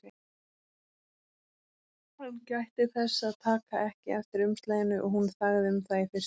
Hann gætti þess að taka ekki eftir umslaginu og hún þagði um það í fyrstu.